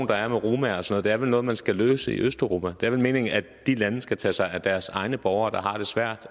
der er mod romaer og sådan vel noget man skal løse i østeuropa det er vel meningen at de lande skal tage sig af deres egne borgere der har det svært